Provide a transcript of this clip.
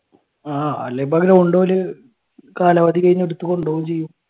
ആഹ് ground ഓല് കാലാവധി കഴിഞ്ഞ എടുത്തു കൊണ്ടുപോകേം ചെയ്യും.